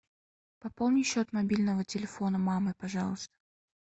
пополни счет мобильного телефона мамы пожалуйста